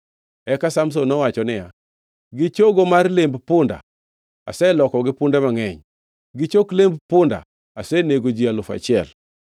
Eka Samson nowacho niya, “Gi chogo mar lemb punda aselokogi punde mangʼeny. Gi chok lemb punda asenego ji alufu achiel.”